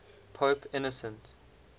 pope innocent